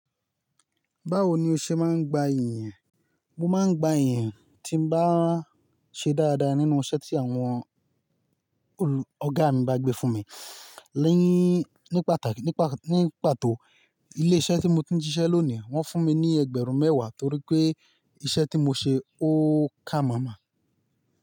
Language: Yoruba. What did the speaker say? Báwo ni o ṣe máa ń gba ìyin? Mo máa ń gba ìyin tí mo bá ṣe dáadáa nínú iṣẹ́ tí àwọn olù ọ̀gá mi bá gbé fún mi. Nii, ní pàtàkì, nípa, ní pàtó ilé iṣẹ́ tí mo ti ń ṣiṣẹ́ lónìí wọ́n fún mi ní ẹgbẹ̀rún mẹ́wàá torí pé iṣẹ́ tí mo ṣe ó ká máa máa.